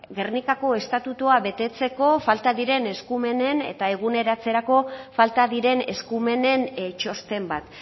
gernikako estatutua betetzeko falta diren eskumenen eta eguneratzerako falta diren eskumenen txosten bat